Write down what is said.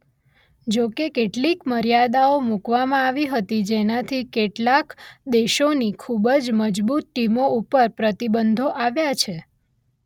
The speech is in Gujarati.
જોકે કેટલીક મર્યાદાઓ મુકવામાં આવી હતી જેનાથી કેટલાક દેશોની ખુબ જ મજબુત ટીમો ઉપર પ્રતિબંધો આવ્યા છે.